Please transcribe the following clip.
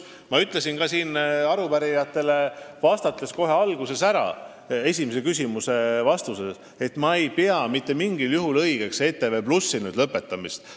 Ma ütlesin ka siin arupärijatele vastates kohe alguses ära, st esimese küsimuse vastuses, et ma ei pea mitte mingil juhul õigeks ETV+ töö lõpetamist.